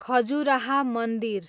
खजुराह मन्दिर